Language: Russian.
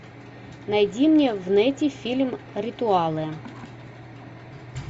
найди мне в нете фильм ритуалы